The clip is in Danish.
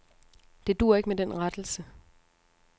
Det duer ikke med den rettelse.